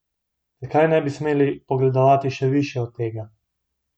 Zakaj ne bi smeli pogledovati še višje od tega?